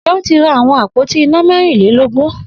Seun ti rá awọn ápótí iná mẹ̀rínlélógùn